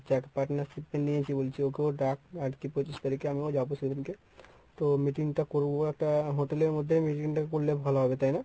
যাকে partnership এ নিয়েছি বলছি ওকেও ডাক আরকি পঁচিশ তারিখে আমিও যাব সেদিনকে। তো meeting করবো একটা hotel এর মধ্যেই meeting টা করলে ভালো হবে তাই না?